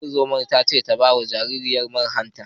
Ungozomar ta ce wa uwar ta ba wa jaririyar man hanta.